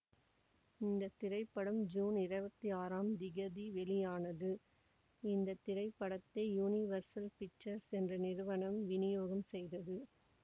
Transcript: இந்த திரைப்படம் ஜூன் இருபத்தி ஆறாம் திகதி வெளியானது இந்த திரைப்படத்தை யுனிவர்சல் பிக்சர்ஸ் என்ற நிறுவனம் வினியோகம் செய்ததது